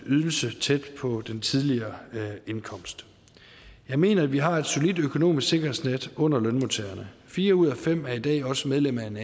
ydelse tæt på den tidligere indkomst jeg mener at vi har et solidt økonomisk sikkerhedsnet under lønmodtagerne fire ud af fem er i dag også medlem af en